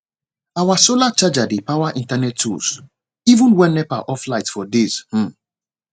our solar charger dey power internet tools even when nepa off light for days um